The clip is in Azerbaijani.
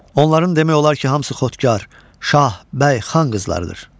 Onların demək olar ki, hamısı xotkar, şah, bəy, xan qızlarıdır.